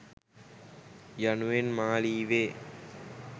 යනුවෙන් මා ලීවේ